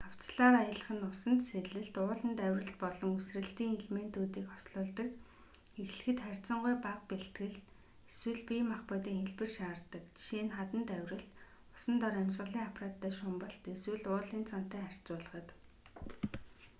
хавцлаар аялах нь усанд сэлэлт ууланд авиралт болон үсрэлтийн элементүүдийг хослуулдаг ч эхлэхэд харьцангуй бага бэлтгэл эсвэл бие махбодын хэлбэр шаарддаг жишээ нь хаданд авиралт усан дор амьсгалын аппараттай шумбалт эсвэл уулын цанатай харьцуулахад